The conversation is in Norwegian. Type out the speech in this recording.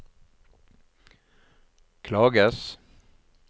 klages